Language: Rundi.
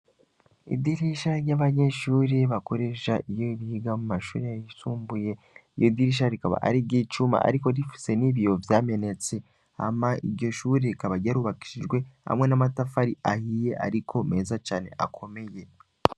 Idirisha ry'abanyeshuri bakorejha iyo biga mu mashuri risumbuye iyo dirisha rikaba arigo icuma, ariko rifise n'ibiyo vyamenetse hama iryo shuri rikaba aryarubakishijwe hamwe n'amatafari ahiye, ariko meza cane akomeye.